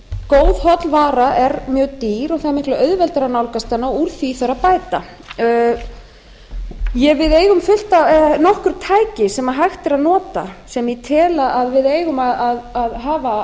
góð holl vara er mjög dýr og það er miklu auðveldara að nálgast hana og úr því þarf að bæta við eigum nokkur tæki sem hægt er að nota sem ég tel að við eigum að hafa